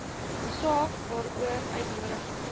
saak waaroor uitnodigings